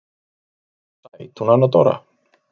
Hún er sæt hún Anna Dóra.